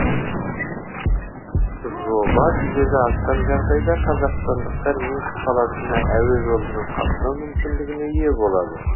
жоба жүзеге асқан жағдайда қазақстандықтар минск қаласына әуе жолымен қатынау мүмкіндігіне ие болады